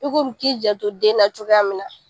I komi k'i janto den na cogoya min na.